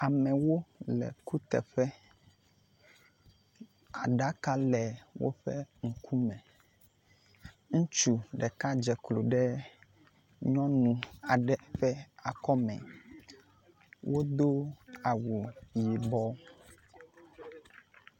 Amewo le kuteƒe aɖaka le woƒe ŋkume. Ŋutsu ɖeka dze klo ɖe nyɔnu aɖe ƒe akɔme. Wodo awu yibɔ.